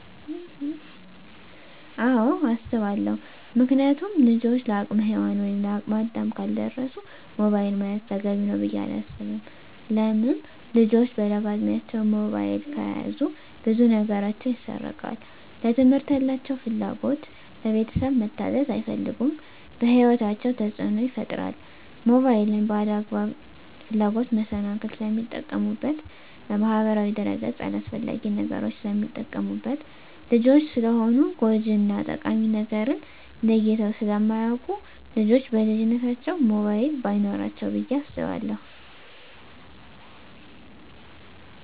አወ አሰባለው ምክንያቱም ልጆች ለአቅመ ሄዋን ወይም ለአቅመ አዳም ካልደረሱ ሞባይል መያዝ ተገቢ ነው ብዬ አላስብም። ለምን ልጆች በለጋ እድማቸው ሞባይል ከያዙ ብዙ ነገራቸው ይሰረቃል ለትምህርት ያላቸው ፍላጎት, ለቤተሰብ መታዘዝ አይፈልጉም በህይወታቸው ተፅዕኖ ይፈጥራል ሞባይልን ለአላግባብ ፍላጎት መሰናክል ስለሚጠቀሙበት በማህበራዊ ድረ-ገፅ አላስፈላጊ ነገሮች ስለሚጠቀሙበት። ልጆች ስለሆኑ ጎጅ እና ጠቃሚ ነገርን ለይተው ስለማያወቁ ልጆች በልጅነታቸው ሞባይል በይኖራቸው ብዬ አስባለሁ።